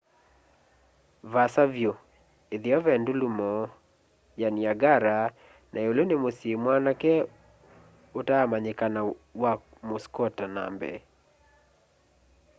vaasa vyũ ĩtheo ve ndulumo ya niagara na ĩũlũ nĩ mũsyĩ mwanake utaamanyikana wa muskota na mbee